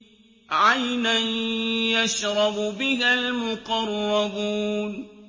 عَيْنًا يَشْرَبُ بِهَا الْمُقَرَّبُونَ